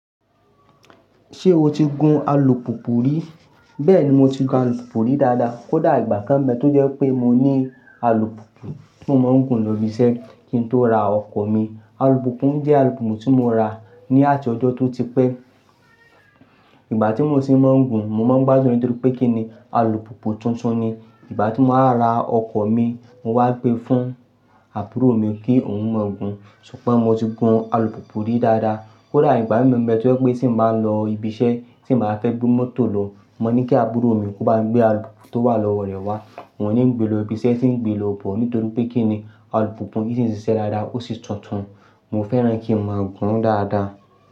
Ṣé o ti gun alùpùpù rí? Bẹ́ẹ̀ni, mo ti gun alùpùpù rí dáadáa. Kó dà ìgbà kan n bẹ́ tó jẹ́ pé mo ní alùpùpù tí mo máa ń gun lọ ibi iṣẹ́ kí n tó ra ọkọ̀ mi. Alùpùpù mi jẹ́ alùpùpù tí mo ra ní àti ọjọ́ tó ti pẹ́. Ìgbà tí mo tì ń máa ń gun, mo máa ń gbádùn nítorí pé kí ni alùpùpù tuntun ni. Ìgbà tí mo wá ra ọkọ̀ mi, mo wá gbé e fún àbúrò mi kí òun ó máa gun. Ṣùgbọ́n mo ti gun alùpùpù rí dáadáa. Kó dà ìgbà mi gan n bẹ tó jẹ́ pé tí mo bá lọ ibi iṣẹ́, tí mo bá fẹ́ gbé mọ́tò lọ, mo ní kí àbúrò mi kó bá mi gbé alùpùpù tó wà lọ́wọ́ rẹ̀ wá. Òun ní ń gbé lọ ibi iṣẹ́, tì ń gbé lọ bọ̀ nítorí pé kí ni alùpùpù yìí ṣì ń ṣiṣẹ́ dáadáa ó sì tuntun. Mo fẹ́ràn kí a máa gún dáadáa.